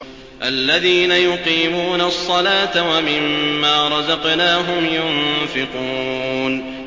الَّذِينَ يُقِيمُونَ الصَّلَاةَ وَمِمَّا رَزَقْنَاهُمْ يُنفِقُونَ